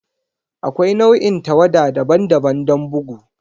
Akwai nau'in tawada daban-daban don bugu.